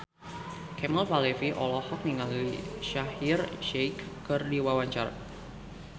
Kemal Palevi olohok ningali Shaheer Sheikh keur diwawancara